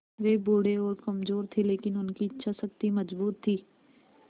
वे बूढ़े और कमज़ोर थे लेकिन उनकी इच्छा शक्ति मज़बूत थी